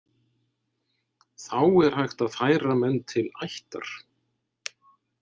Þá er hægt að færa menn til ættar.